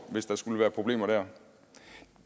hvis der skulle være problemer der